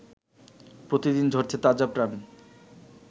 প্রতিদিন ঝরছে তাজা প্রাণ